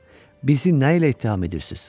Bizi nə ilə ittiham edirsiz?